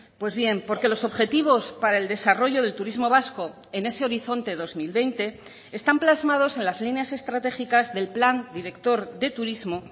pues bien porque los objetivos para el desarrollo del turismo vasco en ese horizonte dos mil veinte están plasmados en las líneas estratégicas del plan director de turismo